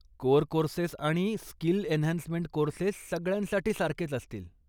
Core courses आणि skill enhancement courses सगळ्यांसाठी सारखेच असतील.